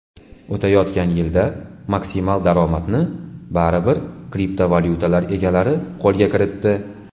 O‘tayotgan yilda maksimal daromadni baribir kriptovalyutalar egalari qo‘lga kiritdi.